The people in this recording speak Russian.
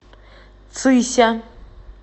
цися